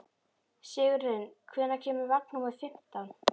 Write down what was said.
Sigurlinn, hvenær kemur vagn númer fimmtán?